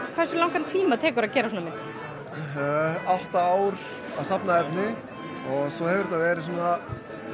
hversu langan tíma tekur að gera svona mynd átta ár að safna efni og svo hefur þetta verið svona